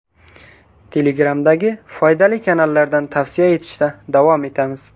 Telegram’dagi foydali kanallardan tavsiya etishda davom etamiz.